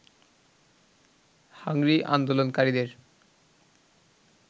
hungry আন্দোলনকারীদের